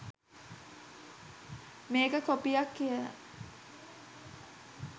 මේක කොපියක් කියලා